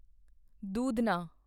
ਦੂਧਣਾ